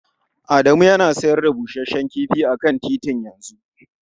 Adamu yana sayar da busasshen kifi a kan titi yanzu.